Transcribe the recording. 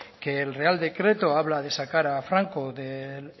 que el real decreto habla de sacar a franco del